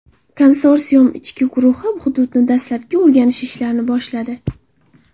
Konsorsium ishchi guruhi hududni dastlabki o‘rganish ishlarini boshladi .